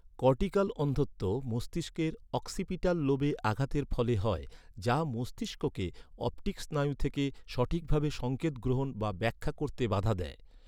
Cortical অন্ধত্ব, মস্তিষ্কের occipital লোবে আঘাতের ফলে হয়, যা মস্তিষ্ককে অপটিক স্নায়ু থেকে সঠিকভাবে সংকেত গ্রহণ বা ব্যাখ্যা করতে বাধা দেয়।